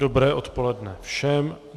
Dobré odpoledne všem.